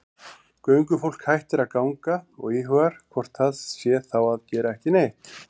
Göngufólk hættir að ganga og íhugar hvort það sé þá að gera ekki neitt.